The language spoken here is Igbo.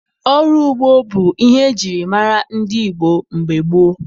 Ọrụ ugbo bụ ihe ejiri mara ndị Igbo mgbe gboo.